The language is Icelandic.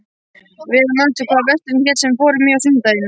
Ver, manstu hvað verslunin hét sem við fórum í á sunnudaginn?